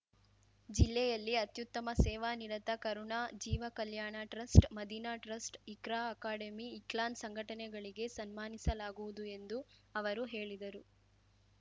ಜಿಲ್ಲೆಯಲ್ಲಿ ಅತ್ಯುತ್ತಮ ಸೇವಾ ನಿರತ Karuna Jeeva Kalyana trust Madina trust Iqra academy ಇಕ್ಲಾನ್‌ ಸಂಘಟನೆಗಳಿಗೆ ಸನ್ಮಾನಿಸಲಾಗುವುದು ಎಂದು ಅವರು ಹೇಳಿದರು